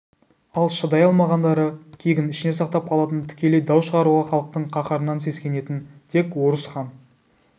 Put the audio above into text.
ал шыдай алмағандары кегін ішіне сақтап қалатын тікелей дау шығаруға халықтың қаһарынан сескенетін тек орыс хан